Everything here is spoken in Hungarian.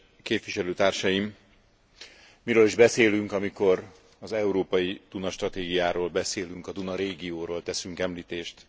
Kedves képviselőtársaim! Miről is beszélünk, amikor az európai Duna stratégiáról beszélünk, a Duna régióról teszünk említést?